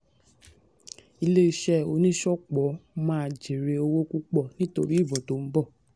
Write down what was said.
ilé iṣẹ́ oníṣọ̀pọ̀ máa jèrè owó púpò nítorí ìbò tó ń bọ̀.